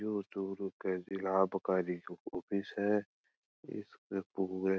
यो चूरू को जिला आबकारी ऑफिस है --